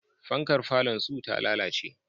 Fankar falonsu ta lalace.